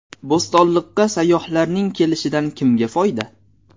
Bo‘stonliqqa sayyohlarning kelishidan kimga foyda?